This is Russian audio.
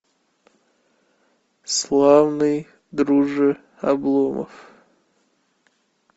славный друже обломов